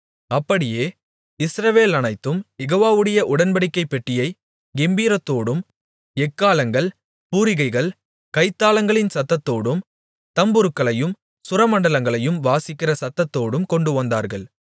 அப்படியே இஸ்ரவேலனைத்தும் யெகோவாவுடைய உடன்படிக்கைப் பெட்டியைக் கெம்பீரத்தோடும் எக்காளங்கள் பூரிகைகள் கைத்தாளங்களின் சத்தத்தோடும் தம்புருக்களையும் சுரமண்டலங்களையும் வாசிக்கிற சத்தத்தோடும் கொண்டுவந்தார்கள்